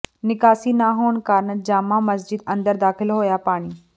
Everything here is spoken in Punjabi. ਨਿਕਾਸੀ ਨਾ ਹੋਣ ਕਾਰਨ ਜਾਮਾ ਮਸਜਿਦ ਅੰਦਰ ਦਾਖ਼ਲ ਹੋਇਆ ਪਾਣੀ